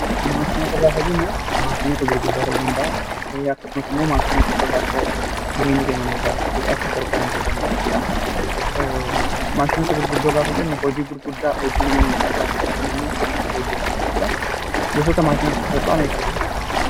Maashinoota gaafa jennu maashinoota gurguddaa ta'uu danda'aa, akkasumas immoo maashinoota sasalphoo ta'uu danda'a. Jireenya keenya nuu salphisuuf nu gargaaru. Maashinoota gurguddoo gaafa jennu hojii gurguddaa hojii namni salphaatti hojjechuu hin dandeenye kan hojjetani jechuudha. Gosoota maashinoota sasalphaa meeqatu jiru?